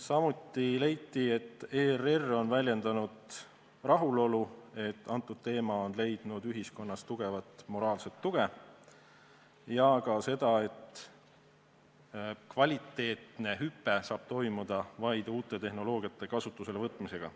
Samuti leiti, et ERR on väljendanud rahulolu, et antud teema on leidnud ühiskonnas tugevat moraalset tuge, ja ka seda, et kvaliteedihüpe saab toimuda vaid uute tehnoloogiate kasutusele võtmisega.